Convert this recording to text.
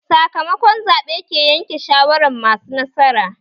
Sakamako zaɓe ke yanke shawaran masu nasara